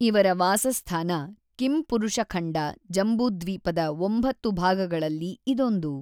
ಇವರ ವಾಸಸ್ಥಾನ ಕಿಂಪುರುಷಖಂಡ ಜಂಬೂದ್ವೀಪದ ಒಂಬತ್ತು ಭಾಗಗಳಲ್ಲಿ ಇದೊಂದು.